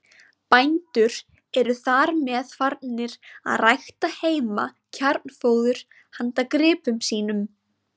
Bændur eru þar með farnir að rækta heima kjarnfóður handa gripum sínum.